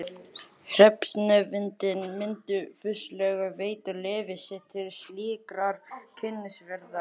Hreppsnefndin myndi fúslega veita leyfi sitt til slíkrar kynnisferðar.